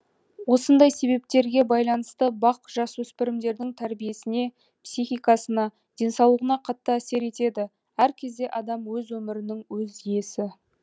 осындай себептерге бйланысты бақ жасөспірімдердің тәрбиесіне психикасына денсаулығына қатты әсер етеді әр кезде адам өз өмірінің өз иесі